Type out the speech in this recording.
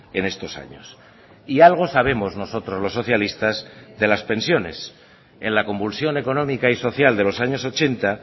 en estos años y algo sabemos nosotros los socialistas de las pensiones en la convulsión económica y social de los años ochenta